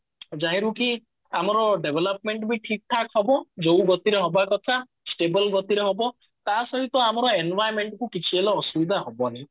ଯାହିଁ ରୁ କି ଆମର development ବି ଠିକ ଠାକ ହବ ଯୋଉ ଗତିରେ ହବା କଥା stable ଗତିରେ ହବ ତା ସହିତ ଆମର environment କୁ କିଛି ହେଲେ ଅସୁବିଧା ହବନି